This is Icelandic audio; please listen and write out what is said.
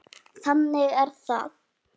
Þannig er það.